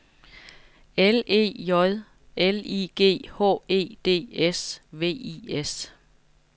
L E J L I G H E D S V I S